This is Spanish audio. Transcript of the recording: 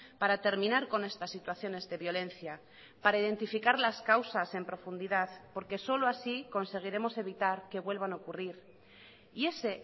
para terminar con estas situaciones de violencia para identificar las causas en profundidad porque solo así conseguiremos evitar que vuelvan a ocurrir y ese